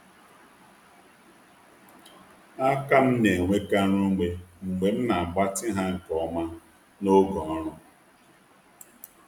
Aka m na-enwekarị ume mgbe m na-agbatị ha nke ọma n’oge ọrụ.